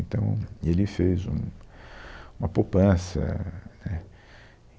Então, ele fez um, uma poupança, né